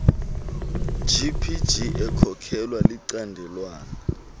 gpg ekhokelwa licandelwana